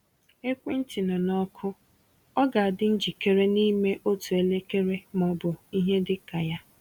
Ekwentị nọ na ọkụ; ọ ga-adị njikere n’ime otu elekere ma ọ bụ ihe dị ka ya.